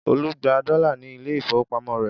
Olú gba dọ́là ní ilé-ìfowópamọ́sí rẹ̀?